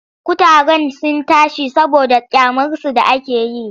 Kutaren sun tashi saboda ƙyamarsu da ake yi.